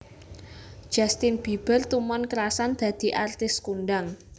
Justin Bieber tumon krasan dadi artis kondang